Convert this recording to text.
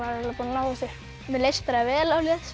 eiginlega búin að ná þessu mér leist bara vel